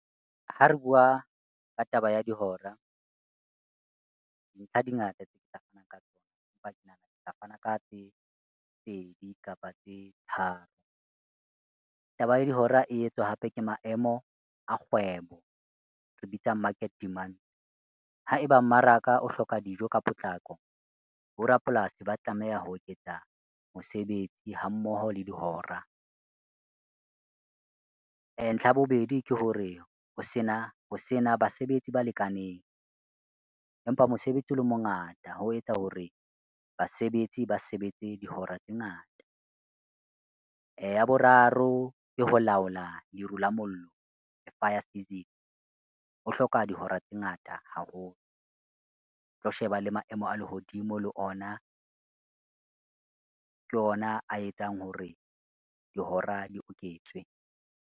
Ha re bua ka taba ya dihora, dintlha di ngata tse ke tla fanang ka tsona, empa ke nahana ke tla fana ka tse pedi kapa tse tharo. Taba ya dihora e etswa hape ke maemo a kgwebo, re e bitsa market demand. Ha eba mmaraka o hloka dijo ka potlako, bo rapolasi ba tlameha ho eketsa mosebetsi ha mmoho le dihora. Ntlha ya bobedi ke hore ho sena basebetsi ba lekaneng, empa mosebetsi o le mongata ho etsa hore basebetsi ba sebetse dihora tse ngata. Ya boraro ke ho laola leru la mollo, ho hloka dihora tse ngata haholo. Tlo sheba le maemo a lehodimo le ona, ke ona a etsang hore dihora di oketswe.